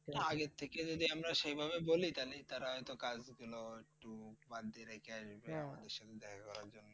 এটা আগের থেকে যদি আমরা সেভাবে বলি তাইলে তারা হয়তো কাজ একটু বাদ দিয়ে রেখে আসবে।